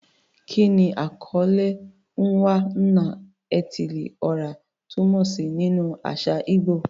Kí ni àkọlé "Onwa-na-etili-ora" túmọ̀ sí nínú àṣà ìgbò?